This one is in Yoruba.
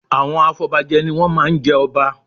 Àwọn afọbajẹ ni wọ́n má a ń jẹ ọba